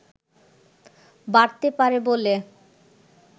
বাড়তে পারে বলে